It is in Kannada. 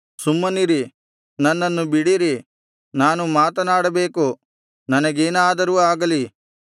ಸುಮ್ಮನಿರಿ ನನ್ನನ್ನು ಬಿಡಿರಿ ನಾನು ಮಾತನಾಡಬೇಕು ನನಗೇನಾದರೂ ಆಗಲಿ